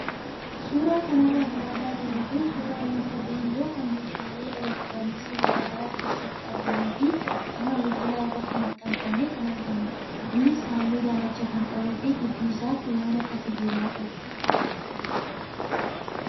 Suuraa kanarra kan argaa jirru kun suuraa wanta geengoo kan meeshaalee elektirooniksii garaagaraa keessatti argamuu fi qaama bilbilaa irratti maxxanfamee kan argamudha. Innis halluu daalacha kan qabuu fi gidduu isaatti waan akka sibiilaa qaba.